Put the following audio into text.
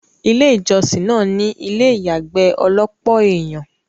ilé ìjọ́sìn náà ní ilé ìyàgbẹ́ ọlọ́pọ̀ ènyàn